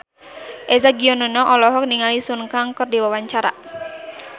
Eza Gionino olohok ningali Sun Kang keur diwawancara